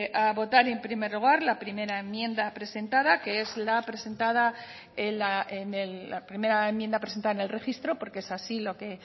a votar en primer lugar la primera enmienda presentada que es la primera enmienda presentada en el registro porque es así lo que